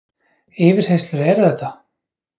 Yfirheyrslur eru þetta!